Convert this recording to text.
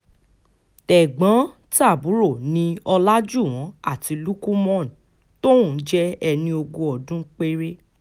tẹ̀gbọ́n-tàbúrò ni ọ̀làjúwọ́n àti lukumon tóun jẹ́ ẹni ogún ọdún péré